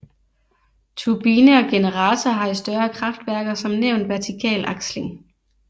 Turbine og generator har i større kraftværker som nævnt vertikal aksling